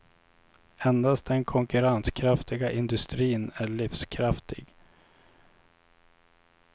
Endast den konkurrenskraftiga industrin är livskraftig.